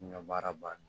N ga baara ban